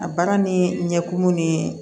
A baara ni ɲɛkumu ni